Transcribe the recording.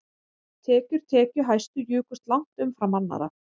Tekjur tekjuhæstu jukust langt umfram annarra